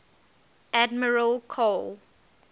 admiral karl